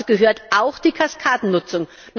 Dazu gehört auch die Kaskadennutzung.